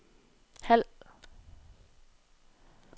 halv